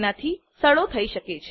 તેનાંથી સડો થઇ શકે છે